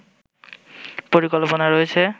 পরিকল্পনা রয়েছে